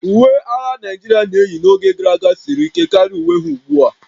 Uwe agha Naijiria na-eyi n'oge gara aga siri ike karịa uwe ha ugbu a